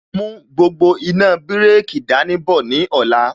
Mú gbogbo iná bireki dání bọ̀ ní ọ̀la